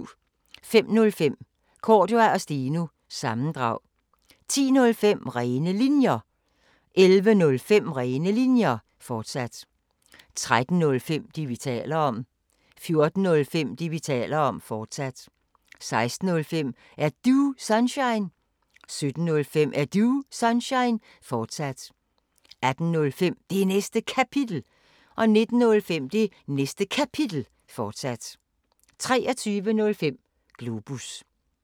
05:05: Cordua & Steno – sammendrag 10:05: Rene Linjer 11:05: Rene Linjer, fortsat 13:05: Det, vi taler om 14:05: Det, vi taler om, fortsat 16:05: Er Du Sunshine? 17:05: Er Du Sunshine? fortsat 18:05: Det Næste Kapitel 19:05: Det Næste Kapitel, fortsat 23:05: Globus